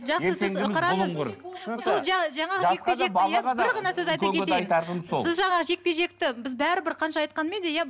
жақсы сіз қараңыз сол жаңағы жекпе жекті иә бір ғана сөз айта кетейін сіз жаңағы жекпе жекті біз бәрібір қанша айтқанмен де иә